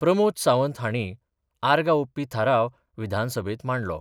प्रमोद सावंत हांणी आर्गां ओपपी थाराव विधानसभेत मांडलो.